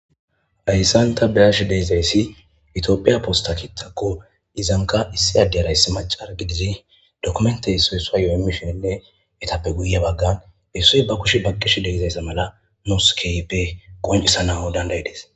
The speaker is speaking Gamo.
Hayssan ta beash deizayssi itoophiya posta kitakko izanka issi addeyarayssi macar gidizi dokumentey soyssua yo'yomishenne etappe guye baggan hessuy ba kushi baqqish deizayssa mala moskeyppe qoncisa nahu dandayedes